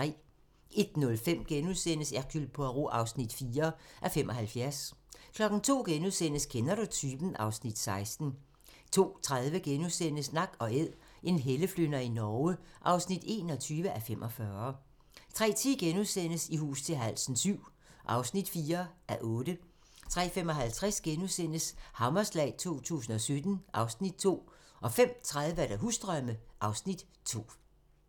01:05: Hercule Poirot (4:75)* 02:00: Kender du typen? (Afs. 16)* 02:30: Nak & Æd - en helleflynder i Norge (21:45)* 03:10: I hus til halsen VII (4:8)* 03:55: Hammerslag 2017 (Afs. 2)* 05:30: Husdrømme (Afs. 2)